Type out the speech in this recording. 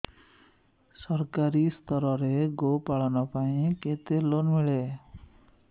ସରକାରୀ ସ୍ତରରେ ଗୋ ପାଳନ ପାଇଁ କେତେ ଲୋନ୍ ମିଳେ